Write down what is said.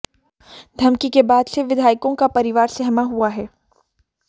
धमकी के बाद से विधायकों का परिवार सहमा हुआ है